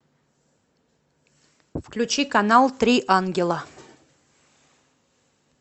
включи канал три ангела